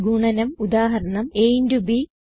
ഗുണനം ഉദാഹരണം ab